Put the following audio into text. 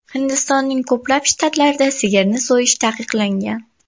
Hindistonning ko‘plab shtatlarida sigirni so‘yish taqiqlangan.